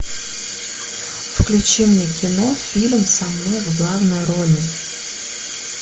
включи мне кино фильм со мной в главной роли